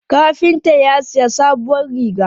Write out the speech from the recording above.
Kafinta ya sayi sabuwar riga.